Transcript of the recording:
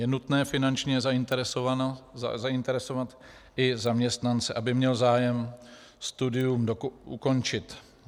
Je nutné finančně zainteresovat i zaměstnance, aby měl zájem studium ukončit.